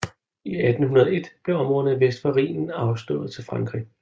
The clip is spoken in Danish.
I 1801 blev områderne vest for Rhinen afstået til Frankrig